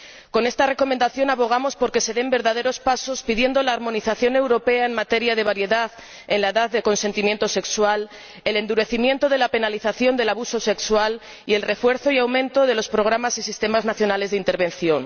Con esta recomendación abogamos por que se den verdaderos pasos, pidiendo la armonización europea en materia de variedad en la edad de consentimiento sexual, el endurecimiento de la penalización del abuso sexual y el refuerzo y aumento de los programas y sistemas nacionales de intervención.